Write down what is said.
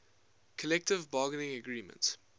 collective bargaining agreement